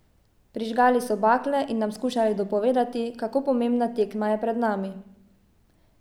Prižgali so bakle in nam skušali dopovedati, kako pomembna tekma je pred nami.